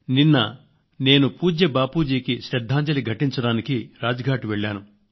నిన్న నేను పూజ్య బాపూజీకి శ్రద్ధాంజలి ఘటించడానికి రాజ్ ఘాట్ కు వెళ్ళాను